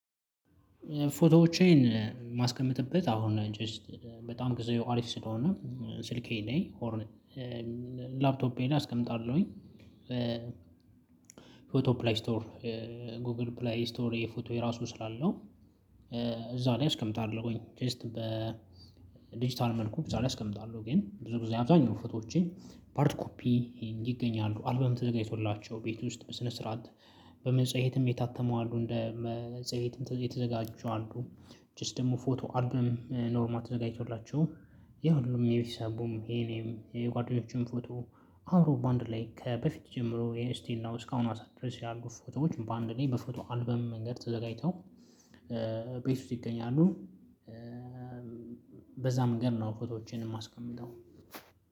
ፎቶዎቼን ማስቀመጥበት አሁን ጀስት በጣም ጊዜው አሪፍ ስለሆነ ስልኬ ላይ ሆር ላፕቶፔ ላይ አስቀምጣለሁኝ። ፎቶ ፕላይ ስቶር ጎግል ፕሌይ ስቶር የፎቶዬ ራሱ ስላለው እዛ ላይ አስቀምጣለሁኝ ጀስት በዲጂታል መልኩ እዛ ላይ አስቀምጣለሁ። ግን ብዙ ጊዜ አብዛኛው ፎቶዎችን በአርድ ኮፒ ይገኛሉ አልበም ተዘጋጅቶላቸው ቤት ውስጥ በስነ ስርዓት በመጽሔትም የታተሙ አሉ እንደ መጽየትም የተዘጋጁ አሉ። ጀስት ደግሞ ፎቶ አልበም ኖርማል ተዘጋጅቶላቸው የሁሉም የቤተሰቡም የእኔም የጓደኞችም ፎቶ አብሮ በአንድ ላይ ከበፊት ጀምሮ የስቲል ናው እስካሁና ሰዓት ድረስ ያሉ ፎቶዎች በአንድ ላይ በፎቶ አልበም መንገድ ተዘጋጅተው ቤት ውስጥ ይገኛሉ። በዛ መንገድ ነው ፎቶዎቼን እማስቀምጠው